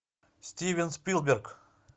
стивен спилберг